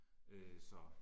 Øh så